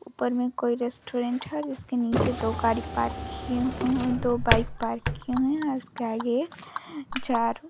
ऊपर में कोई रेस्टुरेंट है जिसके नीचे दो गाड़ी पार्क की है और दो बाइक पार्क किये हुए है और उसके आगे एक जार --